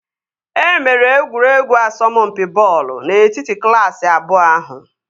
E mere egwuregwu asọmpi bọọlụ n'etiti klaasị abụọ ahụ